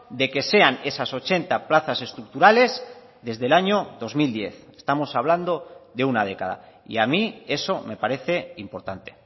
de que sean esas ochenta plazas estructurales desde el año dos mil diez estamos hablando de una década y a mí eso me parece importante